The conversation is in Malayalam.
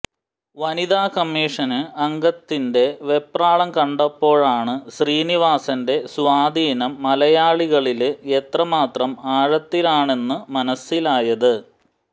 വനിതാ കമ്മിഷന് അംഗത്തിന്റെ വെപ്രാളം കണ്ടപ്പോഴാണ് ശ്രീനിവാസന്റെ സ്വാധീനം മലയാളികളില് എത്രമാത്രം ആഴത്തിലാണെന്നു മനസിലായത്